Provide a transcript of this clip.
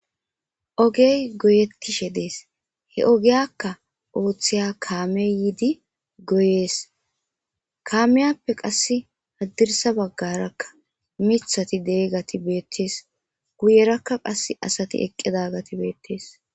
ogey goyeetishe dees he ogiyakka ooththiya kaame yiidi goyees kaameyappe qass addirsa baggarakka mithati dee gati beettees guyerakka qas asati eqqedagati beettees